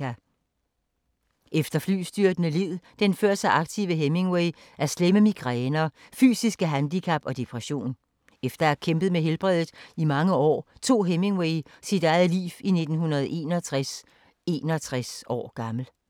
Efter flystyrtene led den før så aktive Hemingway af slemme migræner, fysiske handicap og depression. Efter at have kæmpet med helbredet i mange år, tog Hemingway sit eget liv i 1961, 61 år gammel.